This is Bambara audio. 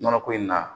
Nɔnɔ ko in na